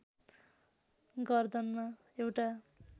गर्दनमा एउटा